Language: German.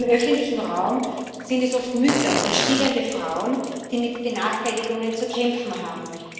Im öffentlichen Raum sind es oft Mütter und stillende Frauen, die mit Benachteiligungen zu kämpfen haben.